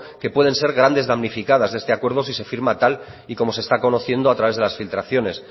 que pueden ser grandes damnificadas de este acuerdo si se firma tal y como se está conociendo a través de las filtraciones